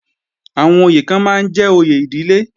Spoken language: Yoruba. Àwọn oyè kan máa ń jẹ́ òye ìdílé